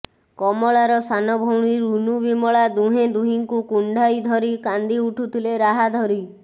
କମଳାର ସାନ ଭଉଣୀ ରୁନୁ ବିମଳା ଦୁହେଁ ଦୁହିଁଙ୍କୁ କୁଣ୍ଡାଇ ଧରି କାନ୍ଦି ଉଠୁଥିଲେ ରାହାଧରି